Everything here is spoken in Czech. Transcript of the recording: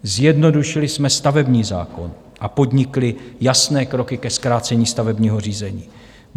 Zjednodušili jsme stavební zákon a podnikli jasné kroky ke zkrácení stavebního řízení.